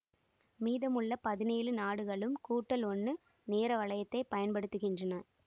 மீதம் உள்ள பதினேழு நாடுகளும் கூட்டல் ஒண்ணு நேர வலையத்தை பயன்படுத்துகின்றன